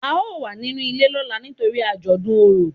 a o wà ninú ilé lọla nítorí ajodùn Orò